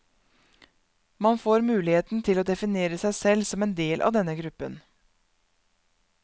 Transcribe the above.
Man får muligheten til å definere seg selv som en del av denne gruppen.